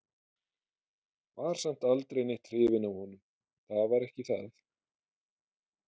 Var samt aldrei neitt hrifin af honum, það var ekki það.